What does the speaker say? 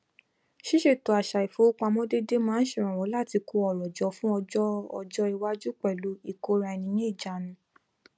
ṣíṣètò àṣà ifowópamọ déédé máa n ṣèrànwọ láti kó ọrọ jọ fún ọjọ ọjọ iwájú pẹlú ìkóraẹniníjaánu